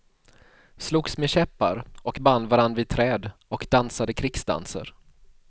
Slogs med käppar och band varann vid träd och dansade krigsdanser.